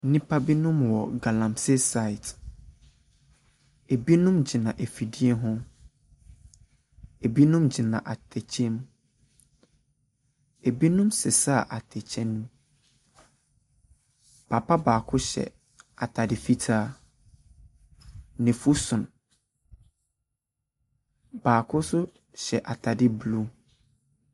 Nnipa binom wɔ galamsey site. Ebinom gyina afidie ho. Ebinom gyina atɛkyɛ mu. Ebinom resesa atɛkyɛ no. papa baako hyɛ atade fitaa. N'afu so. Baako nso hyɛ atade blue.